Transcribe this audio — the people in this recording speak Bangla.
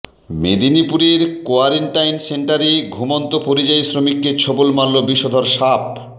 মেদিনীপুরের কোয়ারেন্টাইন সেন্টারে ঘুমন্ত পরিযায়ী শ্রমিককে ছোবল মারল বিষধর সাপ